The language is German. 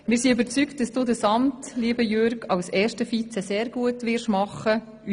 Wir sind überzeugt, lieber Jürg, dass du auch das Amt des ersten Vizepräsidenten sehr gut ausfüllen wirst;